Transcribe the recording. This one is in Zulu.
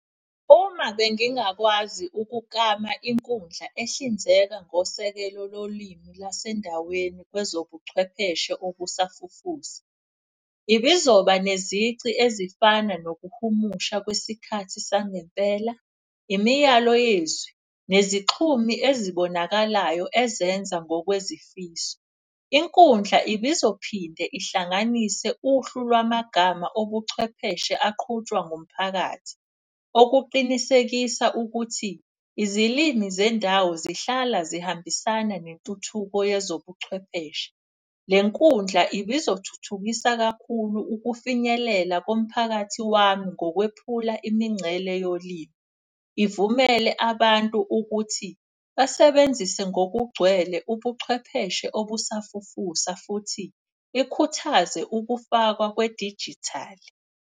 Uma bengingakwazi ukukama inkundla ehlinzeka ngosekelo lolimi lwasendaweni kwezobuchwepheshe obusafufusa. Bengizoba nezici ezifana nokuhumusha kwesikhathi sangempela, imiyalo yezwi, nezixhumi ezibonakalayo ezenza ngokwezifiso. Inkundla ibizophinde ihlanganise uhlu lwamagama obuchwepheshe aqhutshwa ngomphakathi. Okuqinisekisa ukuthi izilimi zendawo zihlala zihambisana nentuthuko yezobuchwepheshe. Le nkundla ibizothuthukisa kakhulu ukufinyelela komphakathi wami ngokwephula imincele yolimi. Ivumele abantu ukuthi basebenzise ngokugcwele ubuchwepheshe obusafufusa futhi ikhuthaze ukufakwa kwedijithali.